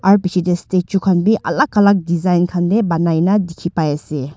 aru piche de statue khan b alak alak design khan de banai na dikhi pai ase.